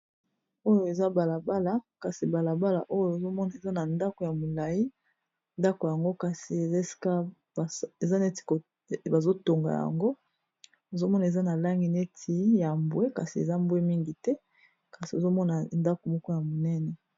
Oyo eza balabala kasi balabala oyo ezomona eza na ndako ya molayi ndako yango kasi eza eza neti bazo tonga yango ozomona eza na langi neti ya mbwe kasi eza mbwe mingi te kasi ozomona ndako moko ya monene.